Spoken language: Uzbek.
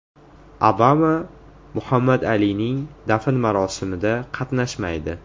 Obama Muhammad Alining dafn marosimida qatnashmaydi.